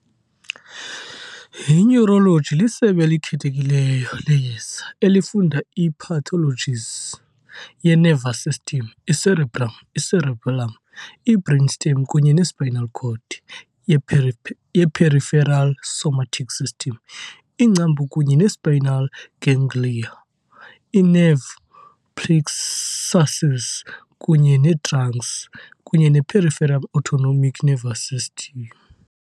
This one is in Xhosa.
I-Neurology lisebe elikhethekileyo leyeza elifunda i-pathologies ye- nervous system, i-cerebrum, i-cerebellum, i-brainstem kunye ne- spinal cord, ye-peripheral somatic system, iingcambu kunye ne-spinal ganglia, i-nerve plexuses kunye ne-trunks, kunye ne- peripheral autonomic nervous system.